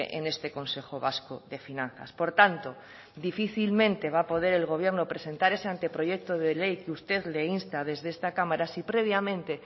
en este consejo vasco de finanzas por tanto difícilmente va a poder el gobierno presentar ese anteproyecto de ley que usted le insta desde esta cámara si previamente